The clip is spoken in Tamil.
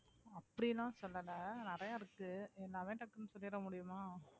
அப்படியெல்லாம் சொல்லலை நிறையா இருக்கு சொல்லிட முடியுமா